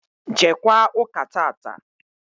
Jeekwa ụ́kà tata!